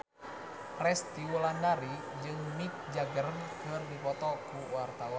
Resty Wulandari jeung Mick Jagger keur dipoto ku wartawan